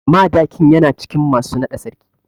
Madakin yana cikin masu naɗa sarki.